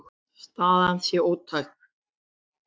Staðan sé ótæk.